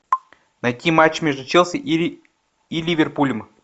найти матч между челси и ливерпулем